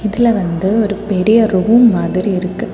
இதுல வந்து ஒரு பெரிய ரூம் மாதிரி இருக்கு.